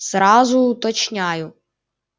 сразу уточняю